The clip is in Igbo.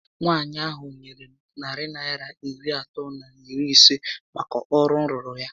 Nwaànyị ahụ nyèrè m narị Naịra iri atọ na iri isé màkà ọrụ m rụụrụ ya